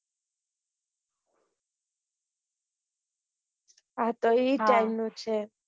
અતો એ time નું છે.